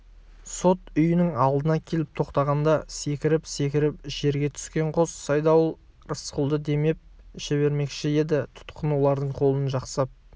сот үйінің алдына келіп тоқтағанда секіріп-секіріп жерге түскен қос айдауыл рысқұлды демеп жібермекші еді тұтқын олардың қолын жасқап